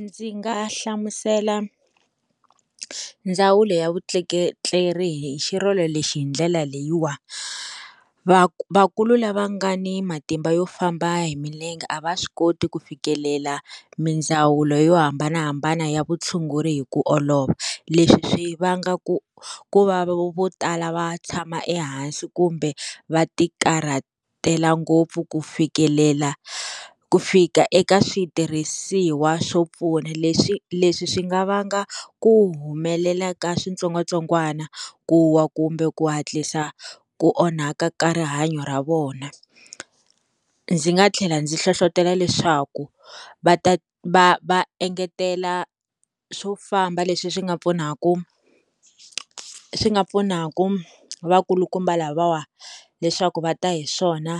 Ndzi nga hlamusela ndzawulo ya vutleketleri hi xirilo lexi hi ndlela leyiwani va vakulu lava nga ni matimba yo famba hi milenge a va swi koti ku fikelela mindzawulo yo hambanahambana ya vutshunguri hi ku olova leswi swi vanga ku ku va vo tala va tshama ehansi kumbe va ti karhatela ngopfu ku fikelela ku fika eka switirhisiwa swo pfuna leswi leswi swi nga vanga ku humelela ka switsongwatsongwana ku wa kumbe ku hatlisa ku onhaka ka rihanyo ra vona ndzi nga tlhela ndzi nhlohlotelo leswaku va ta va va engetela swo famba leswi swi nga pfunaka swi nga pfunaka vakulukumba lavawa leswaku va ta hi swona